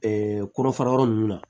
kɔrɔfara yɔrɔ ninnu na